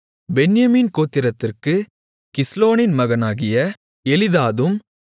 பென்யமீன் கோத்திரத்திற்குக் கிஸ்லோனின் மகனாகிய எலிதாதும்